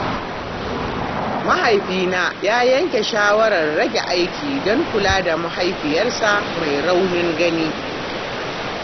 Mahaifina ya yanke shawarar rage aiki don kula da mahaifiyarsa mai raunin gani.